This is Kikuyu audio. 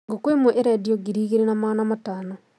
Ngũkũĩmwe ĩrendio ngiri igĩrĩ na magana matano